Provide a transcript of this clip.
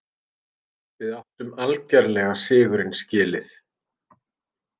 Við áttum algerlega sigurinn skilið.